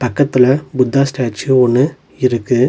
பக்கத்துல புத்தா ஸ்டாச்சு ஒன்னு இருக்கு.